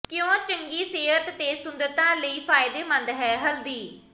ਕਿਉਂ ਚੰਗੀ ਸਿਹਤ ਤੇ ਸੁੰਦਰਤਾ ਲਈ ਫ਼ਾਇਦੇਮੰਦ ਹੈ ਹਲਦੀ